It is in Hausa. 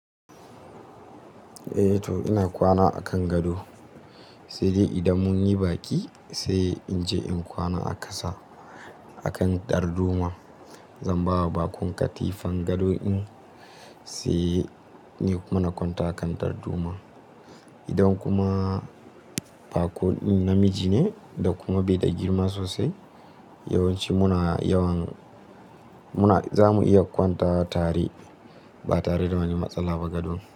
Eh to ina kwana a kan gado, sai dai idan mun yi baƙi sai in je in kwana a ƙasa a kan darduma. Zan ba wa baƙon katifan gadon in sai ni kuma na kwanta a kan darduma. Idan kuma bako ɗin namiji ne da kuma bai da girma sosai, yawanci muna yawan zamu iya kwantawa tare ba tare da wani matsala ba gadon.